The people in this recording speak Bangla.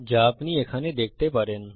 যা আপনি এখানে দেখতে পারেন